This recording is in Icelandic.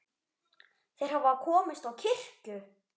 Þeir hafa komist á kirkju!